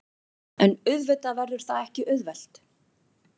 En auðvitað verður það ekki auðvelt